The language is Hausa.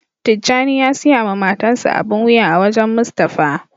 Tijani ya siya ma matan sa abin wuya a wajen Mustapha.